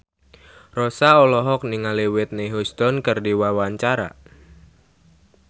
Rossa olohok ningali Whitney Houston keur diwawancara